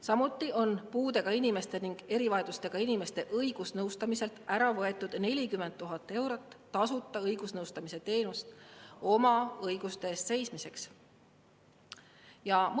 Samuti on puudega inimeste ning erivajadustega inimeste õigusnõustamiselt ära võetud 40 000 eurot, mille eest oleks osutatud tasuta õigusnõustamist, et nad saaksid oma õiguste eest seista.